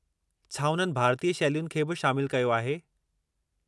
छा उन्हनि भारतीय शैलियुनि खे बि शामिलु कयो आहे?